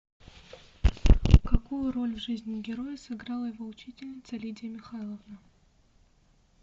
какую роль в жизни героя сыграла его учительница лидия михайловна